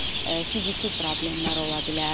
Fiziki problemlər ola bilər.